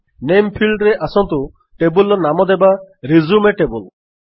ନାମେ ଫିଲ୍ଡରେ ଆସନ୍ତୁ ଟେବଲ୍ ନାମ ଦେବା ରିଜ୍ୟୁମ ଟେବଲ୍